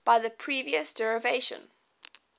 by the previous derivation